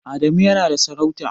Adamu yana da sarauta.